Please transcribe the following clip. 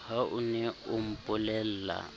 ha o ne o mpolella